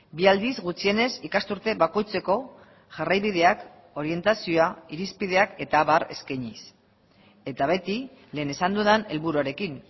bi aldiz gutxienez ikasturte bakoitzeko jarraibideak orientazioa irizpideak eta abar eskainiz eta beti lehen esan dudan helburuarekin